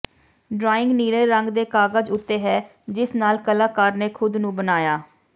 drawing ਨੀਲੇ ਰੰਗ ਦੇ ਕਾਗਜ਼ ਉੱਤੇ ਹੈ ਜਿਸ ਨਾਲ ਕਲਾਕਾਰ ਨੇ ਖੁਦ ਨੂੰ ਬਣਾਇਆ